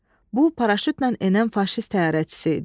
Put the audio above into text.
Bu, paraşütlə enən faşist təyyarəçisi idi.